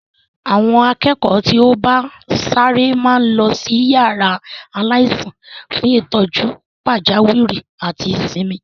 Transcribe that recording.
Àwọn akẹ́kọ̀ọ́ tí ó bá ń ṣàárẹ̀ máa ń lọ sí yàrá aláìsàn fún ìtọ́jú pàjáwìrì àti ìsinmi.